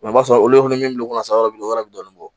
i b'a sɔrɔ olu fɛnɛ min bolo san yɔrɔ min na o yɔrɔ bɛ dɔɔnin bɔ